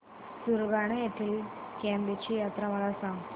सुरगाणा येथील केम्ब ची यात्रा मला सांग